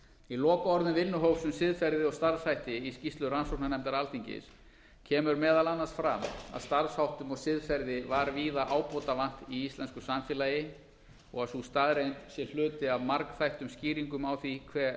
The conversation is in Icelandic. í lokaorðum vinnuhóps um siðferði og starfshætti í skýrslu rannsóknarnefndar alþingis kemur meðal annars fram að starfsháttum og siðferði var víða ábótavant í íslensku samfélagi og að sú staðreynd sé hluti af margþættum skýringum á því hve